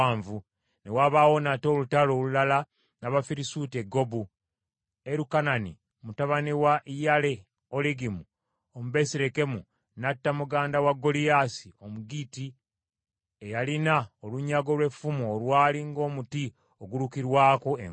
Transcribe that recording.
Ne wabaawo nate olutalo olulala n’Abafirisuuti e Gobu, Erukanani mutabani wa Yayiri Omubesirekemu n’atta muganda wa Goliyaasi Omugitti eyalina olunyago lw’effumu olwali ng’omuti ogulukirwako engoye.